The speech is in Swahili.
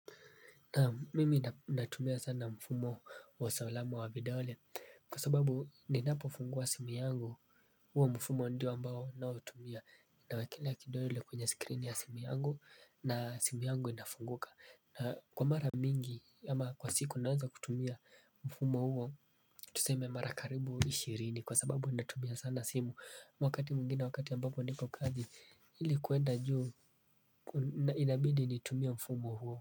Naam mimi natumia sana mfumo wa usalama wa videole kwa sababu ninapo fungua simu yangu huo mfumo ndio ambao ninaotumia. Nawekelea kidole kwenye screen ya simu yangu na simu yangu inafunguka. Na kwa mara mingi ama kwa siku naweza tumia mfumo huo tuseme mara karibu ishirini kwa sababu natumia sana simu wakati mwingine wakati ambapo ndiko kazi hili kuenda juu inabidi nitumie mfumo huo.